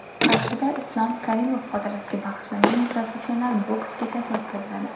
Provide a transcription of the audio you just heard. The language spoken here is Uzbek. Qarshida Islom Karimov xotirasiga bag‘ishlangan professional boks kechasi o‘tkaziladi.